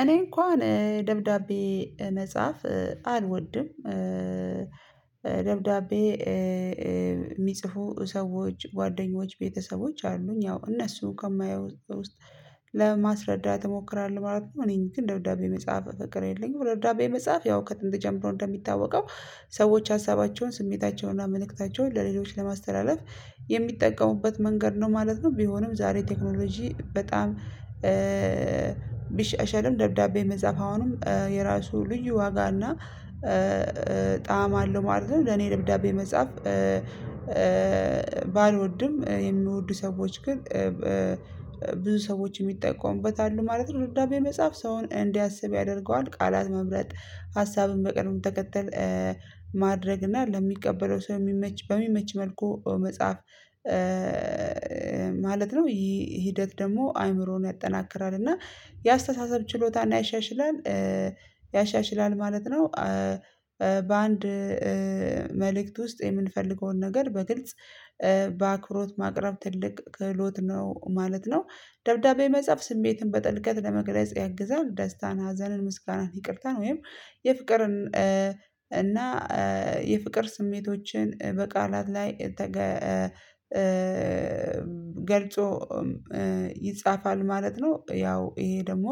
እኔ እንኳን ደብዳቤ መጽሐፍ አልወድም። ደብዳቤ የሚጽፉ ሰዎች ጓደኞች ቤተሰቦች አሉኝ ያው እነሱ ከማየው ውስጥ ለማስረዳት እሞክራለሁ ማለት ነው። እኔ ግን ደብዳቤ መጻፍ ፍቅር የለኝም። ደብዳቤ መጽሐፍ ያው ከጥንት ጀምሮ እንደሚታወቀው ሰዎች ሀሳባቸውን ስሜታቸውንና መልእክታቸውን ለሌሎች ለማስተላለፍ የሚጠቀሙበት መንገድ ነው ማለት ነው። ቢሆንም ዛሬ ቴክኖሎጂ በጣም ቢሻሻልም ደብዳቤ መጻፍ አሁንም የራሱ ልዩ ዋጋ እና ጣዕም አለው ማለት ነው። ለኔ ደብዳቤ መጻፍ ባልወድም የምወዱ ሰዎች ግን ብዙ ሰዎች የሚጠቀሙበት አሉ ማለት ነው። ደብዳቤ መጻፍ ሰውን እንዲያስብ ያደርገዋል ቃላት መምረጥ ሀሳብን በቅደም ተከተል ማድረግ እና ለሚቀበለው ሰው የሚመች በሚመች መልኩ መጽሐፍ ማለት ነው። ይሄ ሂደት ደግሞ አይምሮን ያጠናክራል እና የአስተሳሰብ ችሎታ ያሻሽላል ያሻሽላል ማለት ነው። በአንድ መልእክት ውስጥ የምንፈልገውን ነገር በግልጽ በአክብሮት ማቅረብ ትልቅ ክህሎት ነው ማለት ነው። ደብዳቤ መጻፍ ስሜትን በጥልቀት ለመግለጽ ያግዛል ደስታን ሀዘንን ምስጋናን ይቅርታን ወይም የፍቅርን እና የፍቅር ስሜቶችን በቃላት ላይ ተገ ገልጾ ይጻፋል ማለት ነው። ያው ይሄ ደግሞ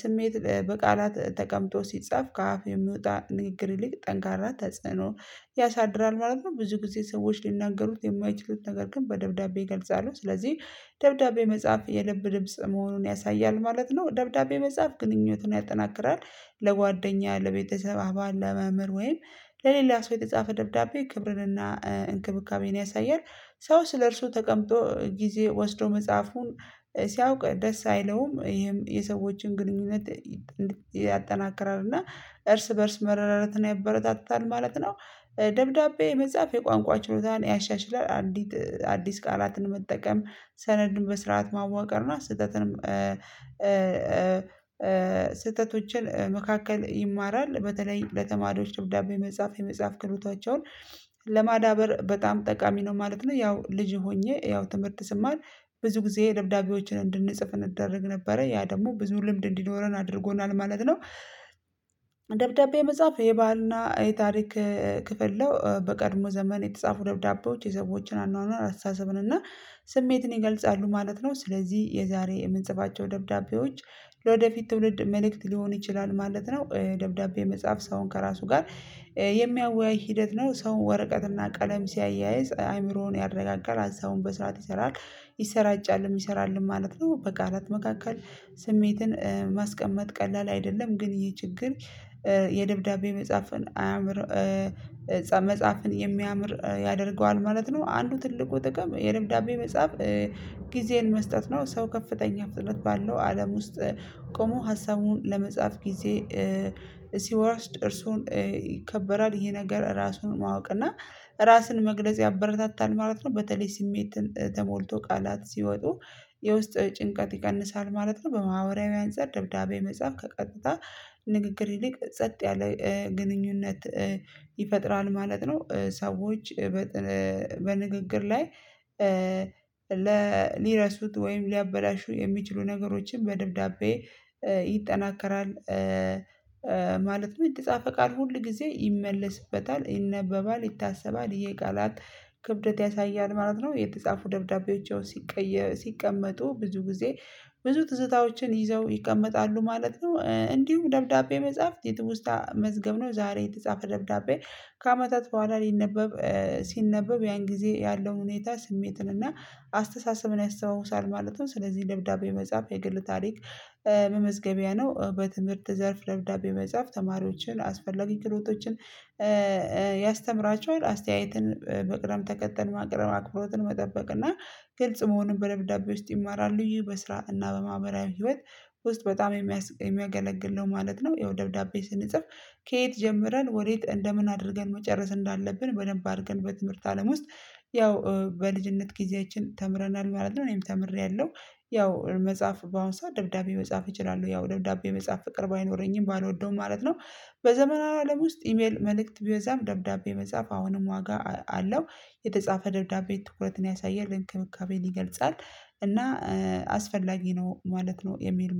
ስሜት በቃላት ተቀምጦ ሲጻፍ ከአፍ የሚወጣ ንግግር ይልቅ ጠንካራ ተጽዕኖ ያሳድራል ማለት ነው። ብዙ ጊዜ ሰዎች ሊናገሩት የማይችሉት ነገር ግን በደብዳቤ የገልጻሉ ስለዚህ ደብዳቤ መጽሐፍ የልብ ድምጽ መሆኑን ያሳያል ማለት ነው። ደብዳቤ መጽሐፍ ግንኙነትን ያጠናክራል ለጓደኛ ለቤተሰብ አባባል ለመምህር ወይም ለሌላ ሰው የተጻፈ ደብዳቤ ክብርንና እንክብካቤን ያሳያል። ሰው ስለእርሱ ተቀምጦ ጊዜ ወስዶ መጽሐፉን ሲያውቅ ደስ አይለውም ይሄም የሰዎችን ግንኙነት ያጠናክራል እና እርስ በእርስ መረዳዳትን ያበረታታል ማለት ነው። ደብዳቤ መጻፍ የቋንቋ ችሎታን ያሻሽላል። አዲስ ቃላትን መጠቀም ሰነድን በስርዓት ማዋቀርና ስህተትንም ስህተቶችን መካከል ይማራል በተለይ ለተማሪዎች ደብዳቤ መጽሐፍ የመጽሐፍ ከህሎታቸውን ለማዳበር በጣም ጠቃሚ ነው ማለት ነው። ያው ልጅም ሆኜ ያው ትምህርት ስማር ብዙ ጊዜ ደብዳቤዎችን እንድንጽፍ እንደረግ ነበረ ያ ደግሞ ብዙ ልምድ እንዲኖረን አድርጎናል ማለት ነው። መጽሐፍ የባሕልና የታሪክ ክፍል ነው። በቀድሞ ዘመን የተጻፉ ደብዳቤዎች የሰዎችን አኗኗር አስታሰብን እና ስሜትን ይገልጻሉ ማለት ነው። ስለዚህ የዛሬ የምንጽፋቸው ደብዳቤዎች ለወደፊት ትውልድ መልእክት ሊሆን ይችላል ማለት ነው። ደብዳቤ የመጻፍ ሰውን ከራሱ ጋር የሚያወያይ ሂደት ነው። ሰው ወረቀት እና ቀለም ሲያያይዝ አእምሮን ያረጋጋል ሃሳቡን በስረአት ይሰራል ይሰራጫል የሚሰራልን ማለት ነው። በቃላት መካከል ስሜትን ቀላል አይደለም ግን ይሄ ችግር የደብዳቤ መጽሐፍን አያምር መጽሐፍን የሚያምር ያደርገዋል ማለት ነው። አንዱ ትልቁ ጥቅም የልብዳቤ መጽሐፍ ጊዜን መስጠት ነው። ሰው ከፍተኛ ፍጥነት ባለው አለም ውስጥ ቆሞ ሀሳቡን ለመጻፍ ጊዜ ሲወርስ እርሱን ይከበራል ይሄ ነገር ራሱን ማወቅ እና ራስን መግለጽ ያበረታታል ማለት ነው። በተለይ ስሜት ተሞልቶ ቃላት ሲወጡ የውስጥ ጭንቀት ይቀንሳል ማለት ነው። በማህበራዊ አንፃር ደብዳቤ መጽሐፍ ከቀጥታ ንግግር ይልቅ ጸጥ ያለ ግንኙነት ይፈጥራል ማለት ነው። ሰዎች በንግግር ላይ ለሊረሱት ወይም ሊያበላሹ የሚችሉ ነገሮችን በደብዳቤ ይጠናከራል ማለት ነው። የተጻፈ ቃል ሁል ጊዜ ይመለስበታል ይነበባል ይታሰባል ይሄ ቃላት ክብደት ያሳያል ማለት ነው። የተጻፉ ደብዳቤዎች ሲቀየሩ ሲቀመጡ ብዙ ጊዜ ብዙ ትዝታዎችን ይዘው ይቀመጣሉ ማለት ነው። እንዲሁም ደብዳቤ መጽሐፍት የትውስታ መዝገብ ነው። ዛሬ የተጻፈ ደብዳቤ ከአመታት በኋላ ሊነበብ ሲነበብ ያን ጊዜ ያለው ሁኔታ ስሜትን እና አስተሳሰብን ያስታውሳል ማለት ነው። ስለዚህ ልብዳቤ መጻፍ የግል ታሪክ መመዝገቢያ ነው። በትምህርት ዘርፍ ለብዳቤ መጻፍ ተማሪዎችን አስፈላጊ ክሕሎቶችን ያስተምራቸዋል አስተያየትን ብቅደምተከተል ማቅረብ አክብሮትን መጠበቅ እና ግልጽ መሆኑን በደብዳቤ ውስጥ ይማራሉ። ይህ በስራ እና በማህበራዊ ህይወት ውስጥ በጣም የሚያስቅ የሚያገለግል ነው ማለት ነው። ይኸው ደብዳቤ ስንጽፍ ከየት ጀምረን ወዴት እንደምን አድርገን መጨረስ እንዳለብን በደንብ አድርገን በትምህርት አለም ውስጥ ያው በልጅነት ጊዜያችን ተምረናል ማለት ነው። እኔም ተምሬያለሁ። ያው መጽሐፍ በአሁን ሰው ደብዳቤ መጻፍ እችላለሁ ያው ደብዳቤ መጻፍ ፍቅር ባይኖረኝም ባልወደውም ማለት ነው። በዘመናዊ አለም ውስጥ ኢሜል መልእክት ቢበዛም ደብዳቤ መጻፍ አሁንም ዋጋ አለው። የተጻፈ ደብዳቤ ትኩረትን ያሳያል እንክብካቤን ይገልጻል እና አስፈላጊ ነው ማለት ነው። የሚል